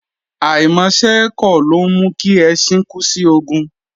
Àìmọṣẹ́ ẹ́ kọ̀, ló ńmú kí ẹṣin kú sí ogun.